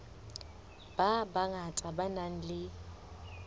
ba bangata ba nang le